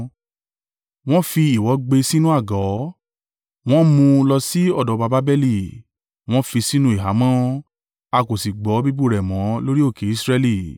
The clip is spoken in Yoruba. Wọn fi ìwọ̀ gbé e sínú àgò, wọn mú un lọ sí ọ̀dọ̀ ọba Babeli, wọn fi sínú ìhámọ́, a kò sì gbọ́ bíbú rẹ̀ mọ́ lórí òkè Israẹli.